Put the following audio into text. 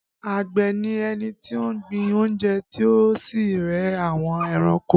Àgbẹ̀ ni ẹni tí ó ń gbin oúnjẹ tí ó sì ń re àwọn ẹranko